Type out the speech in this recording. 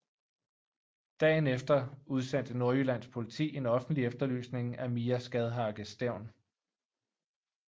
Dagen efter udsendte Nordjyllands Politi en offentlig efterlysning af Mia Skadhauge Stevn